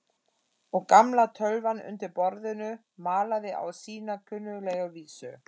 Og gamla tölvan undir borðinu malaði á sína kunnuglegu vísu.